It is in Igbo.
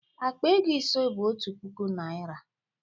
Akpa ego ise bụ otu puku naịra